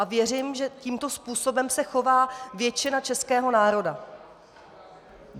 A věřím, že tímto způsobem se chová většina českého národa.